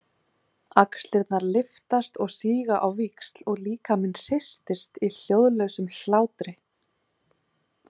Axlirnar lyftast og síga á víxl og líkaminn hristist í hljóðlausum hlátri.